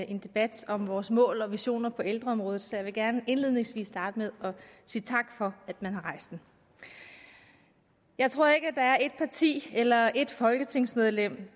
en debat om vores mål og visioner på ældreområdet så jeg vil gerne indledningsvis sige tak for at man har rejst den jeg tror ikke at der er ét parti eller ét folketingsmedlem